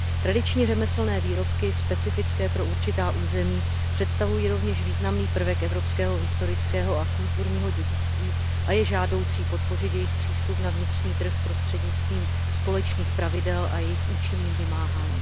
Tradiční řemeslné výrobky specifické pro určitá území představují rovněž významný prvek evropského historického a kulturního dědictví a je žádoucí podpořit jejich přístup na vnitřní trh prostřednictvím společných pravidel a jejich účinným vymáháním.